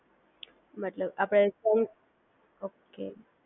મતલબ આપડે junk okay